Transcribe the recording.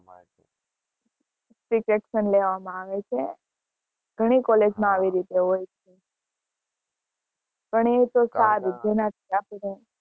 strict action લેવા માં આવે છે ઘણી college માં આવી રીતે હોય પણ એ તો સારું